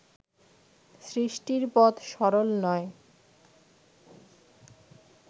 সৃষ্টির পথ সরল নয়